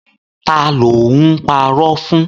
Ta ló ń parọ́ fún?